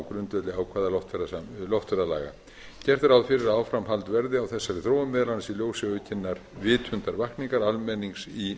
grundvelli ákvæða loftferðalaga gert er ráð fyrir að áframhald verði á þessari þróun meðal annars í ljósi aukinnar vitundarvakningar almennings í